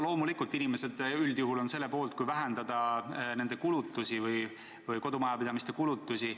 Loomulikult inimesed üldjuhul on selle poolt, et vähendada nende kulutusi või üldse kodumajapidamiste kulutusi.